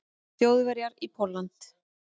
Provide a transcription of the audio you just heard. Þjóðverja í Pólland.